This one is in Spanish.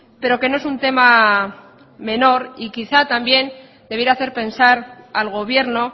pero que no es un tema menor y quizá también debiera hacer pensar al gobierno